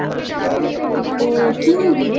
ও কী Movie রে?